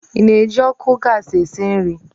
Ị na-eji ọkụ gasi esi nri?